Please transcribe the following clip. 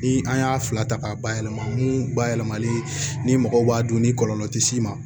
Ni an y'a fila ta k'a bayɛlɛma mun bayɛlɛmali ni mɔgɔw b'a dun ni kɔlɔlɔ tɛ s'i ma